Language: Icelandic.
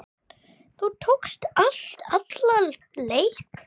Þú tókst allt alla leið.